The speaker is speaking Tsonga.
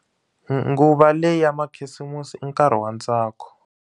Nguva leya makhisimusi i nkarhi wa ntsako.